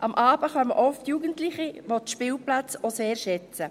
Am Abend kommen oft Jugendliche, welche die Spielplätze auch sehr schätzen.